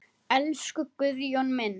Elsku Guðjón minn.